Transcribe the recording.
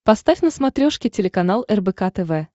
поставь на смотрешке телеканал рбк тв